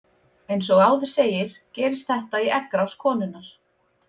Eins og áður segir gerist þetta í eggrás konunnar.